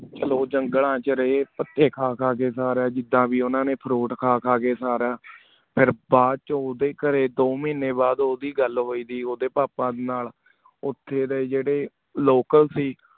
ਕਲੋ ਜੰਗਲਾਂ ਚ ਰੀ ਪਟੀ ਖਾ ਖਾ ਕੀ ਊ ਸਾਰਾ ਚੀਜਾ ਵੀ ਓਨਾ ਨੀ fruit ਖਾ ਖਾ ਕੀ ਸਾਰਾ ਫਿਰ ਬਾਅਦ ਚੋ ਓਦੇ ਕਰੀ ਦੋ ਮਾਹਿਨੀ ਬਾਅਦ ਓੜੀ ਗਲ ਹੋਈਏ ਦੀ ਹੈ ਓਦੇ ਪਾਪਾ ਨਾਲ ਓਤੇ ਏਯ੍ਡੀ ਜੇਰੀ local ਸੇ